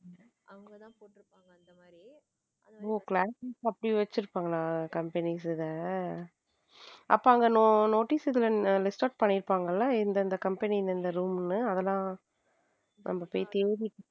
ஓஹ class லா வச்சிருப்பாங்களா? company இத அப்ப அங்க notice list out பண்ணி இருப்பாங்க இல்ல இந்த company அதெல்லாம நம்ம போய் தேடி.